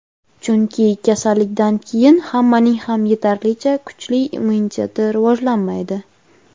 chunki kasallikdan keyin hammaning ham yetarlicha kuchli immuniteti rivojlanmaydi.